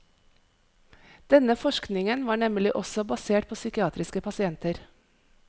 Denne forskningen var nemlig også basert på psykiatriske pasienter.